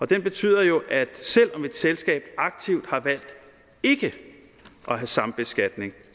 den betyder jo at selv om et selskab aktivt har valgt ikke at have sambeskatning